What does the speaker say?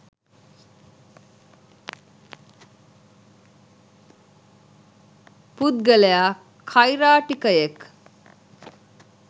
පුද්ගලයා කෛරාටිකයෙක්